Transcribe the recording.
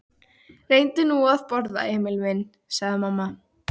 Reyndu nú að borða, Emil minn, sagði mamma.